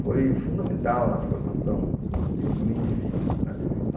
Foi fundamental na formação do indivíduo.